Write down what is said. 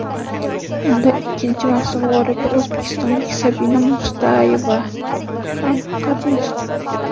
Unda ikkinchi mavsum g‘olibi o‘zbekistonlik Sabina Mustayeva ham qatnashdi.